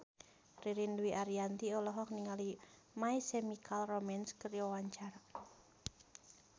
Ririn Dwi Ariyanti olohok ningali My Chemical Romance keur diwawancara